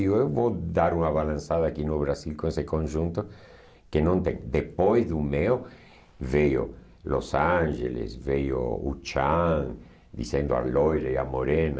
Eu eu vou dar uma balançada aqui no Brasil com esse conjunto, que não tem, depois do meu veio Los Angeles, veio o Chan, dizendo a loira e a morena.